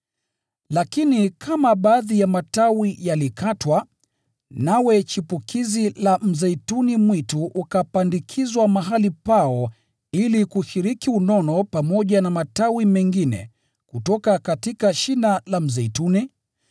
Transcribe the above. Lakini kama baadhi ya matawi yalikatwa, nawe chipukizi la mzeituni mwitu ukapandikizwa mahali pao ili kushiriki unono pamoja na matawi mengine kutoka shina la mzeituni,